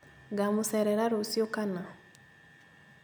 Ngamũcerera rũciũ kana?